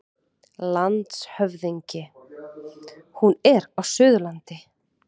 LANDSHÖFÐINGI: Hún er á Suðurlandi.